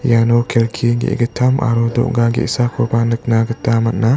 iano kelki ge·gittam aro doga ge·sakoba nika gita man·a.